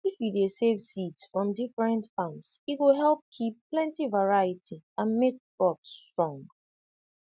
if you dey save seeds from different farms e go help keep plenty variety and make crops strong